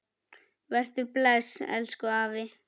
Vertu bless, elsku afi.